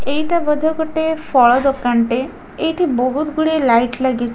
ଏଇଟା ବୋଧେ ଗୋଟେ ଫଳ ଦୋକାନଟେ ଏଇଠି ବହୁତ୍ ଗୁଡ଼େ ଲାଇଟ୍ ଲାଗି--